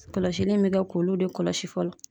Kɔlɔsili in be kɛ k'olu de kɔlɔsi fɔlɔ.